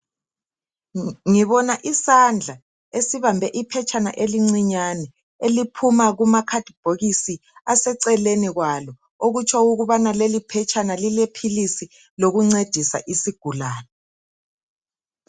Ngibona isandla esibambe iphetshana elincinyane eliphuma kuma khadibhokisi aseceleni kwalo okutsho ukubana leli phetshana lilephilisi lokuncedisa isigulane.